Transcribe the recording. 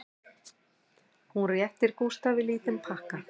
Hún réttir Gústafi lítinn pakka